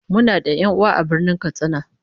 Muna da 'yan'uwa a Birnin Katsina